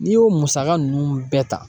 N'i y'o musaka ninnu bɛɛ ta